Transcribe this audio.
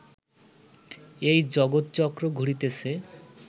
এই জগৎচক্র ঘুরিতেছে